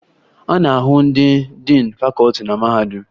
A na-ahụ ndị diin fakọọti na mahadum